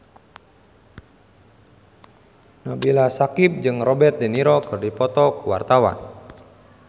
Nabila Syakieb jeung Robert de Niro keur dipoto ku wartawan